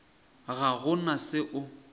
ga go na se o